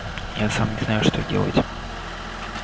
я сам не знаю что делать